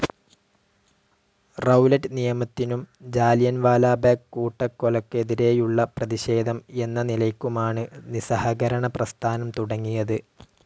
Rowlatt നിയമത്തിനും Jallianwala Bagh കൂട്ടക്കൊലയ്‌ക്കെതിരെയുള്ള പ്രതിഷേധം എന്ന നിലയ്ക്കുമാണ് നിസഹകരണ പ്രസ്ഥാനം തുടങ്ങിയത്.